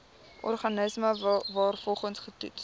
organisme waarvoor getoets